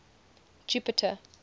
jupiter